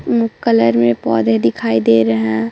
मु कलर में पौधे दिखाई दे रहे है।